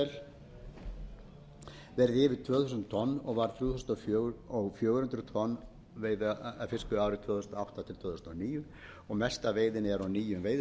yfir tvö þúsund tonn og var þrjú þúsund fjögur hundruð tonn fisveiðiárið tvö þúsund og átta tvö þúsund og níu og mest af veiðinni er á nýjum veiðisvæðum vestan selvogsbanka og